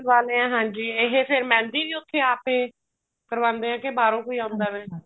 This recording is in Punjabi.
ਵਾਲੇ ਐ ਹਾਂਜੀ ਇਹ ਫੇਰ ਮਹਿੰਦੀ ਵੀ ਉੱਥੇ ਆਪ ਏ ਕਰਵਾਂਦੇ ਨੇ ਕੇ ਬਾਹਰੋ ਕੋਈ ਆਉਂਦਾ ਵੇ